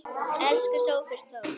Elsku Sófus Þór.